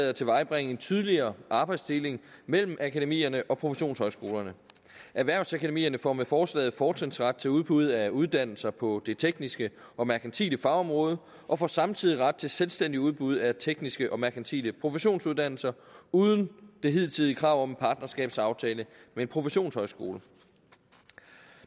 at tilvejebringe en tydeligere arbejdsdeling mellem akademierne og professionshøjskolerne erhvervsakademierne får med forslaget fortrinsret til udbud af uddannelser på det tekniske og merkantile fagområde og får samtidig ret til selvstændigt udbud af tekniske og merkantile professionsuddannelser uden det hidtidige krav om en partnerskabsaftale med en professionshøjskole